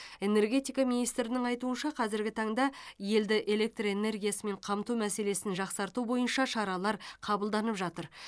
энергетика министрінің айтуынша қазіргі таңда елді электр энергиясымен қамту мәселесін жақсарту бойынша шаралар қабылданып жатыр